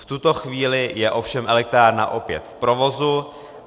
V tuto chvíli je ovšem elektrárna opět v provozu.